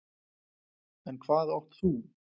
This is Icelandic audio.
En hvað átt þú?